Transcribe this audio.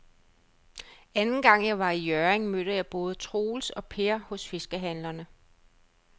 Anden gang jeg var i Hjørring, mødte jeg både Troels og Per hos fiskehandlerne.